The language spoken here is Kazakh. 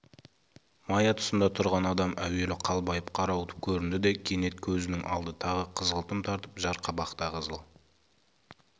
мая тұсында тұрған адам әуелі қалбайып қарауытып көрінді де кенет көзінің алды тағы қызғылтым тартып жар қабақта қызыл